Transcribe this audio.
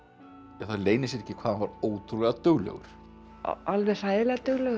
það leynir sér ekki hvað hann var ótrúlega duglegur alveg hræðilega duglegur